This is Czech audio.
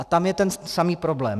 A tam je ten samý problém.